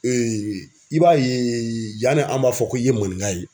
Ee i b'a ye yan ne an b'a fɔ ko i ye maninka ye